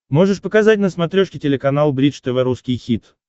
можешь показать на смотрешке телеканал бридж тв русский хит